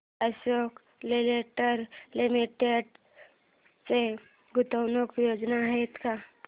Ashok Leyland limited च्या गुंतवणूक योजना आहेत का